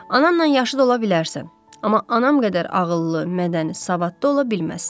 Anamla yaşı da ola bilərsən, amma anam qədər ağıllı, mədəni, savadlı ola bilməzsən.